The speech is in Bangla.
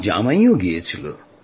আমার জামাইও গিয়েছিল